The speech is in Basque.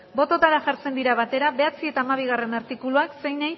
botoetara jartzen dira batera bederatzi eta hamabigarrena artikuluak zeinei